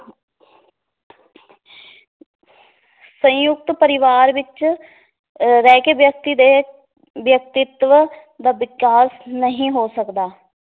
ਸੰਯੁਕਤ ਪਰਿਵਾਰ ਵਿੱਚ ਅਹ ਰਹਿ ਕੇ ਵਿਅਕਤੀ ਦੇ ਵਿਅਕਤਿਤਵ ਦਾ ਵਿਕਾਸ ਨਹੀ ਹੋ ਸਕਦਾ